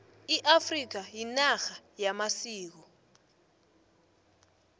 i afrika inarha yamasiko